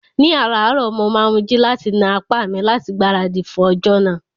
Ní ààrárọ̀, mo máa ń jí láti na apá mi láti gbáradì fún ọjọ́ náà